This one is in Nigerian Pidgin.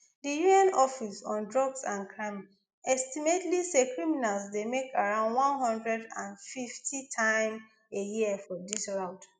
di un office on drugs and crime estimate say criminals dey make around one hundred and fiftym a year for dis route